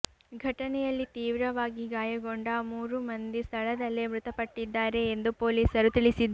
ಘಟನೆಯಲ್ಲಿ ತೀವ್ರವಾಗಿ ಗಾಯಗೊಂಡ ಮೂರೂ ಮಂದಿ ಸ್ಥಳದಲ್ಲೇ ಮೃತಪಟ್ಟಿದ್ದಾರೆ ಎಂದು ಪೊಲೀಸರು ತಿಳಿಸಿದ್ದಾರೆ